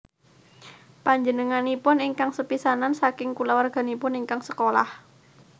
Panjenenganipun ingkang sepisanan saking kulawarganipun ingkang sekolah